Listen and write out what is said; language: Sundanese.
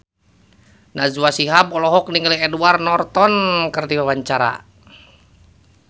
Najwa Shihab olohok ningali Edward Norton keur diwawancara